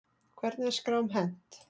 Hvernig er skrám hent?